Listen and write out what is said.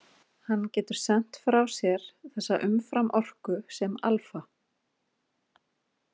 Hann getur sent frá sér þessa umframorku sem alfa-.